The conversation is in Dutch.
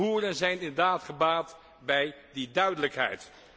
Boeren zijn inderdaad gebaat bij die duidelijkheid.